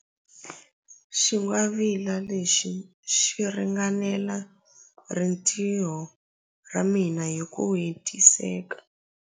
Xingwavila lexi xi ringanela rintiho ra mina hi ku hetiseka.